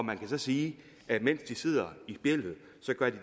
man kan så sige at mens de sidder i spjældet